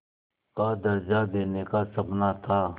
का दर्ज़ा देने का सपना था